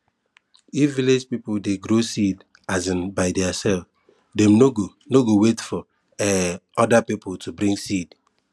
if village people dey grow seed um by theirselves dem no go no go wait for um other people to bring seed